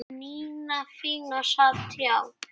Nína fína sat hjá